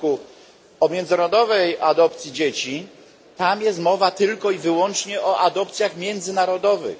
r. o międzynarodowej adopcji dzieci, tam jest mowa tylko i wyłącznie o adopcjach międzynarodowych.